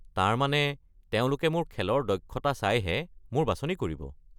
তাৰ মানে, তেওঁলোকে মোৰ খেলৰ দক্ষতা চাই হে মোৰ বাছনি কৰিব?